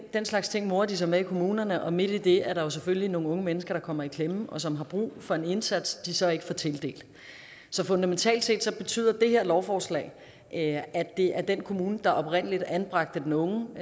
slags ting morer de sig med i kommunerne og midt i det er der selvfølgelig nogle unge mennesker der kommer i klemme og som har brug for en indsats de så ikke får tildelt så fundamentalt set betyder det her lovforslag at det er den kommune der oprindelig anbragte den unge